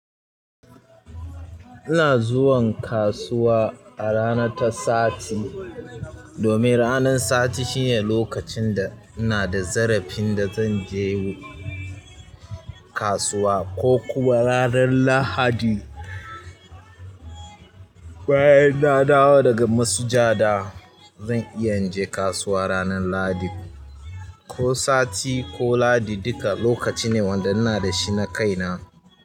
Ina zuwan kasuwa a rana ta sati domin ranan sati shine lokacin da ina da zarafin da zan je kasuwa ko kuma ranan lahadi. Bayan na dawo daga masujada zan iya inje kasuwa ranan lahadi. Ko sati ko lahadi duka lokaci ne wanda ina da shi na kaina.